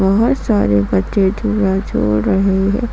बहोत सारे बच्चे झूला झूल रहे हैं।